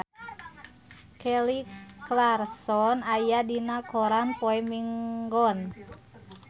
Kelly Clarkson aya dina koran poe Minggon